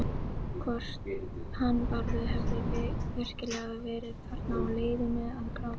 Hvort hann Bárður hefði virkilega verið þarna á leiðinu að gráta.